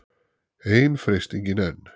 Ein freistingin enn.